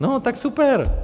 No tak super!